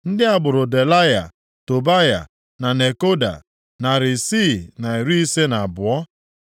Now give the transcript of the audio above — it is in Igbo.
Ndị agbụrụ Delaya, Tobaya na Nekoda, narị isii na iri ise na abụọ (652).